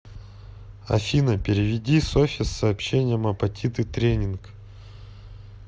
афина переведи софе с сообщением апатиты тренинг